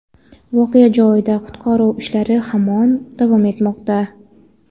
voqea joyida qutqaruv ishlari hamon davom etmoqda.